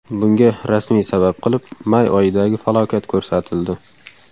Bunga rasmiy sabab qilib may oyidagi falokat ko‘rsatildi.